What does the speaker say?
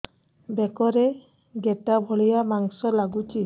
ବେକରେ ଗେଟା ଭଳିଆ ମାଂସ ଲାଗୁଚି